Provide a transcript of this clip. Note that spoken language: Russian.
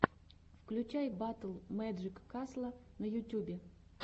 включай батл мэджик касла на ютюбе